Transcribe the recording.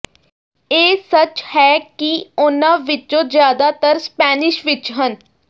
ਇਹ ਸੱਚ ਹੈ ਕਿ ਉਨ੍ਹਾਂ ਵਿਚੋਂ ਜ਼ਿਆਦਾਤਰ ਸਪੈਨਿਸ਼ ਵਿਚ ਹਨ